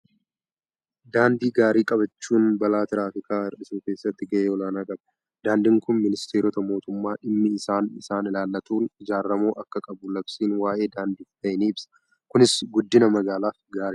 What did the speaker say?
Daandii gaarii qabaachuun balaa tiraafikaa hir'isuu keessatti gahee olaanaa qaba. Daandiin kun ministeerota mootummaa dhimmi isaa isaan ilaallatuun ijaaramuu akka qabu labsiin waa'ee daandiif bahe ni ibsa. Kunis guddina magaalaaf gaariidha.